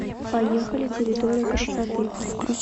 поехали территория красоты